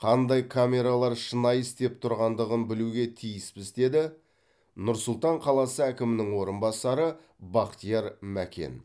қандай камералар шынайы істеп тұрғандығын білуге тиіспіз деді нұр сұлтан қаласы әкімінің орынбасары бақтияр мәкен